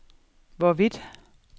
hvorvidt